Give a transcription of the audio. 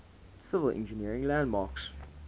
civil engineering landmarks